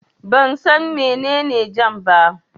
Ban san mene ne jam ba